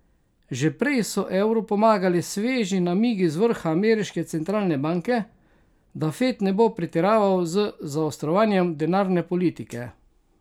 Že prej so evru pomagali sveži namigi z vrha ameriške centralne banke, da Fed ne bo pretiraval z zaostrovanjem denarne politike.